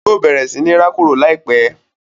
Yóò bẹ̀rẹ̀ sí ní rákòrò láìpẹ́.